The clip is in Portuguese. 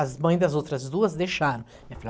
As mães das outras duas deixaram. Eu falei ó